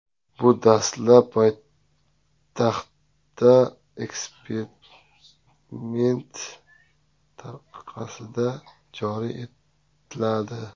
Bu dastlab poytaxtda eksperiment tariqasida joriy etiladi.